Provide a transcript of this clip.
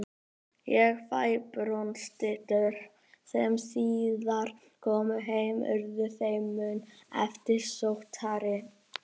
Þær fáu bronsstyttur sem síðar komu heim urðu þeim mun eftirsóttari.